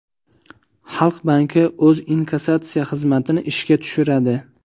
Xalq banki o‘z inkassatsiya xizmatini ishga tushiradi.